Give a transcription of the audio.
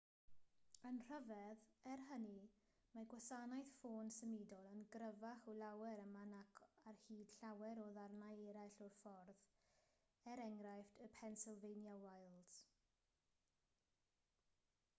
yn rhyfedd er hynny mae gwasanaeth ffôn symudol yn gryfach o lawer yma nac ar hyd llawer o ddarnau eraill o'r ffordd e.e. y pennsylvania wilds